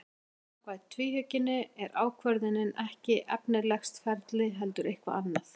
En samkvæmt tvíhyggjunni er ákvörðunin ekki efnislegt ferli heldur eitthvað annað.